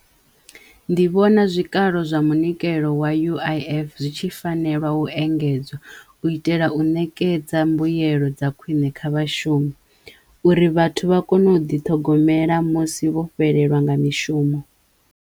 Ndi vhona zwikalo zwa munikelo wa U_I_F zwi tshi fanelwa u engedzwa u itela u nekedza mbuyelo dza khwiṋe kha vhashumi uri vhathu vha kono u ḓiṱhogomela musi vho fhelelwa nga mishumo.